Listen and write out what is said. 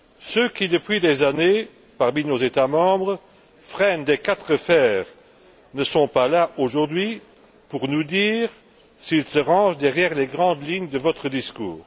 Ceux qui, depuis des années, parmi nos États membres, freinent des quatre fers ne sont pas là aujourd'hui pour nous dire s'ils se rangent derrière les grandes lignes de votre discours.